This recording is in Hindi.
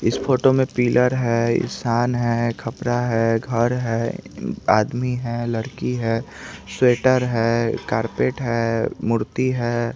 इस फोटो में पिलर है ईसान है कपड़ा है घर है आदमी है लड़की है स्वेटर है कारपेट है मूर्ति है।